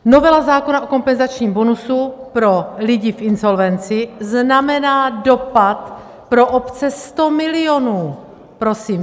Novela zákona o kompenzačním bonusu pro lidi v insolvenci znamená dopad pro obce 100 milionů, prosím.